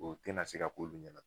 O te na se k'olu ɲɛna